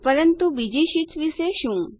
પરંતુ બીજી શીટ્સ વિશે શું